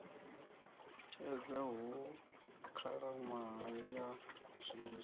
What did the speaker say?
tshedza hu khalaṅwaha ya swiswi